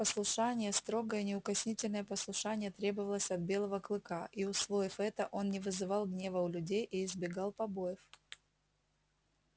послушание строгое неукоснительное послушание требовалось от белого клыка и усвоив это он не вызывал гнева у людей и избегал побоев